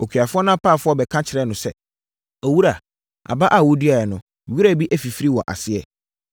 “Okuafoɔ no apaafoɔ bɛka kyerɛɛ no sɛ, ‘Owura, aba a woduaeɛ no, wira bi afifiri wɔ aseɛ!’